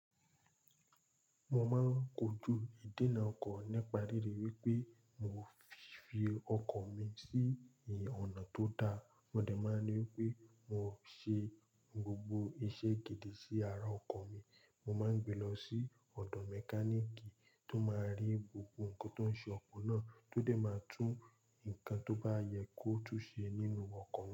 Mo máa ń kojú ìdènà ọkọ̀ nípa ríri wípé mo fi fi ọkọ̀ mi sí ìyè ọ̀nà tó da. Mo dẹ̀ máa ń rí wípé mo ṣe gbogbo iṣẹ́ gidi sí ara ọkọ̀ mi. Mo má ń gbe lọ sí ọ̀dọ̀ mẹkáníìkì tó máa ń rí gbogbo nǹkan tó ń ṣe ọkọ̀ náà, tó dẹ̀ máa tún nǹkan tó bá yẹ kó tún ṣe nínú ọkọ̀ mi.